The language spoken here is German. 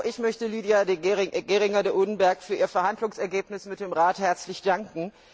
Auch ich möchte Lidia Geringer de Oedenberg für ihr Verhandlungsergebnis mit dem Rat herzlich danken.